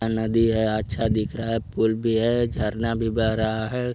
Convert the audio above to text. यह नदी है अच्छा दिख रहा है पुल भी है झरना भी बह रहा है।